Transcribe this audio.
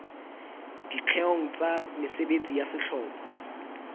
dikgeong tsa mesebetsi ya sehlopha